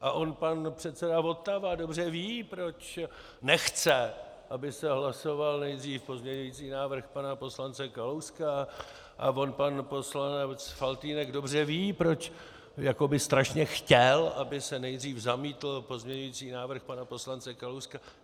A on pan předseda Votava dobře ví, proč nechce, aby se hlasoval nejdříve pozměňovací návrh pana poslance Kalouska, a on pan poslanec Faltýnek dobře ví, proč jakoby strašně chtěl, aby se nejdřív zamítl pozměňovací návrh pana poslance Kalouska.